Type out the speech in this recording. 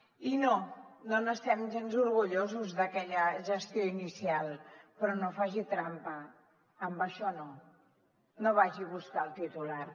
i no no n’estem gens orgullosos d’aquella gestió inicial però no faci trampa amb això no no vagi a buscar el titular